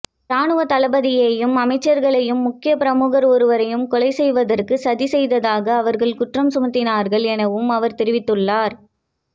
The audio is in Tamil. இராணுவதளபதியையும் அமைச்சர்களையும் முக்கிய பிரமுகர் ஒருவரையும் கொலை செய்வதற்கு சதி செய்ததாக அவர்கள் குற்றம் சுமத்தினார்கள் எனவும் அவர் தெரிவித்துள்ளார்